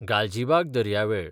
गालजिबाग दर्यावेळ